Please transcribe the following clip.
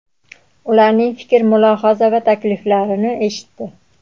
ularning fikr-mulohaza va takliflarini eshitdi.